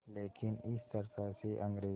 लेकिन इस चर्चा से अंग्रेज़ों